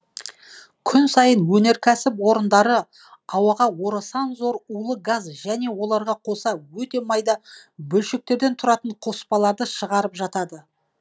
күн сайын өнеркәсіп орындары ауаға орасан зор улы газ және оларға қоса өте майда бөлшектерден тұратын қоспаларды шығарып жатады